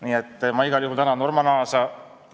Nii et ma igal juhul tänan Norman Aasa.